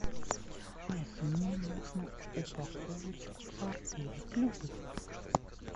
алиса мне нужно упаковочку сарделек любых